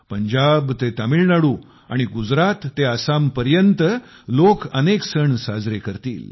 पंजाब ते तामिळनाडू आणि गुजरात ते आसामपर्यंत लोक अनेक सण साजरे करतील